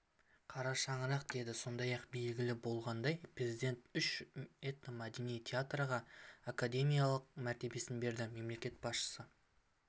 қара шаңырақ деді сондай-ақ белгілі болғандай президенті үш этномәдени театрға академиялық мәртебесін берді мемлекет басшысы